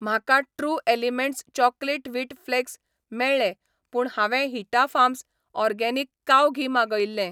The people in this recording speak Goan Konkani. म्हाका true elements chocolate wheat flakes मेळ्ळें पूण हांवें हिटा फार्म्स र्ऑगेनिक काव घी मागयिल्लें.